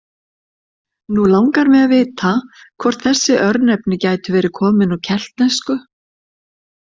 Nú langar mig að vita hvort þessi örnefni gætu verið komin úr keltnesku?